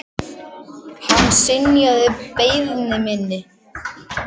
Hann synjaði beiðni minni.